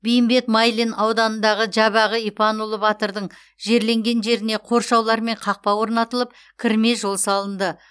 бейімбет майлин ауданындағы жабағы ипанұлы батырдың жерленген жеріне қоршаулар мен қақпа орнатылып кірме жол салынды